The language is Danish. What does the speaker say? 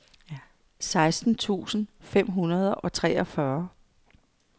seksten tusind fem hundrede og treogfyrre